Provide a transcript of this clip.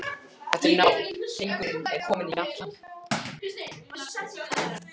Þetta er nóg, Hringur er kominn í gallann.